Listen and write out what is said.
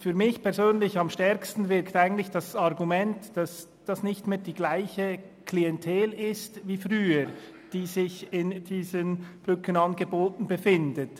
Für mich persönlich wirkt das Argument am stärksten, dass es heute nicht mehr dieselbe Klientel ist wie früher, die diese Brückenangebote nutzt.